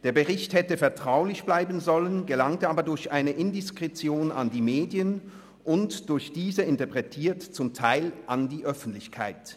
Der Bericht hätte vertraulich bleiben sollen, gelangte aber durch eine Indiskretion an die Medien und durch diese interpretiert zum Teil an die Öffentlichkeit.